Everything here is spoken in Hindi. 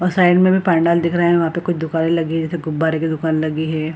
और साइड में भी पंडाल दिख रहे हैं वहां पे कुछ दुकाने लगी हुई जैसे गुब्बारे की दुकान लगी है।